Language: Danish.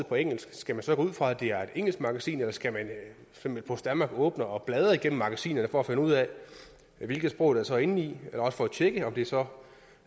på engelsk skal man så gå ud fra at det er et engelsk magasin eller skal post danmark åbne og bladre igennem magasinerne for at finde ud af hvilke sprog der så er indeni også for at tjekke om det så